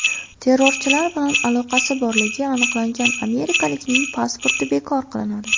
Terrorchilar bilan aloqasi borligi aniqlangan amerikaliklarning pasporti bekor qilinadi.